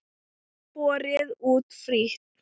Borið út frítt.